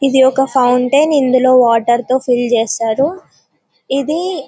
ఇది ఒక ఫౌంటెన్ ఇందులో వాటర్ తో ఫిల్ చేస్తారు ఇది--